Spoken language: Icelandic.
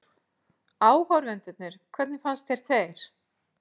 Áhorfendurnir hvernig fannst þér þeir?